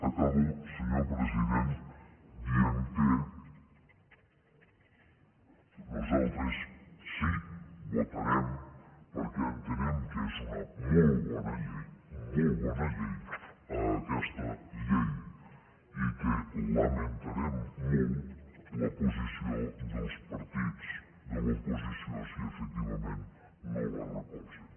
acabo senyor president dient que nosaltres sí que votarem perquè entenem que és una molt bona llei molt bona llei aquesta llei i que lamentarem molt la posició dels partits de l’oposició si efectivament no la recolzen